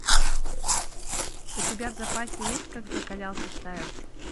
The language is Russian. у тебя в запасе есть как закалялся стайл